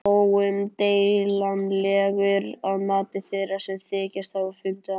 Óumdeilanlegur að mati þeirra, sem þykjast hafa fundið hann.